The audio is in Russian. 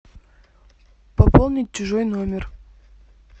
пополнить чужой номер